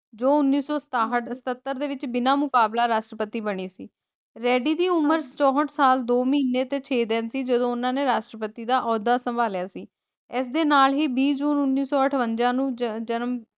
ਜੋ ਉੱਨੀ ਸੌ ਸਤਾਹਟ ਸਤਤਰ ਦੇ ਵਿਚ ਬਿਨਾ ਮੁਕਾਬਲਾ ਰਾਸ਼ਟਰਪਤੀ ਬਣੀ ਸੀ ਰੈੱਡੀ ਦੀ ਉਮਰ ਚੌਹਟ ਸਾਲ ਦੋ ਮਹੀਨੇ ਤੇ ਛੇ ਦਿਨ ਸੀ ਜਦੋ ਓਹਨਾ ਨੇ ਰਾਸ਼ਟਰਪਤੀ ਦਾ ਓਹਦਾ ਸੰਭਾਲਿਆ ਸੀ ਇਸਦੇ ਨਾਲ ਹੀ ਬੀਹ ਜੂਨ ਉਨੀ ਸੋ ਅਠਵੰਜਾ ਨੂੰ ਜਨਮ।